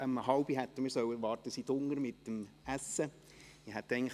Man hat uns um halb fünf unten zum Essen erwartet.